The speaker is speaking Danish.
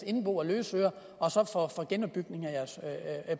indbo og løsøre og så for genopbygningen af deres